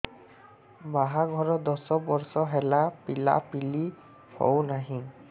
ବାହାଘର ଦଶ ବର୍ଷ ହେଲା ପିଲାପିଲି ହଉନାହି